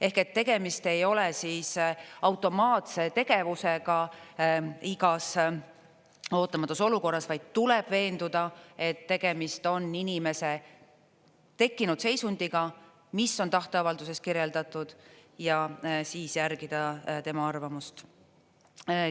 Ehk et tegemist ei ole automaatse tegevusega igas ootamatus olukorras, vaid tuleb veenduda, et tegemist on inimese tekkinud seisundiga, mis on tahteavalduses kirjeldatud, ja siis järgida tema arvamust.